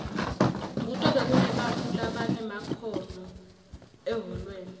kutobe kunebantfu labanemakhono ehholweni